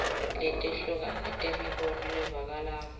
letehlukene temibono levakalako